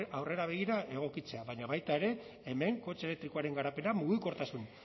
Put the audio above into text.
aurrera begira egokitzea baina baita ere hemen kotxe elektrikoaren garapena mugikortasun